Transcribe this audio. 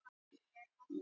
Vill meiri völd